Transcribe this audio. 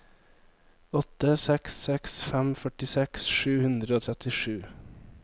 åtte seks seks fem førtiseks sju hundre og trettisju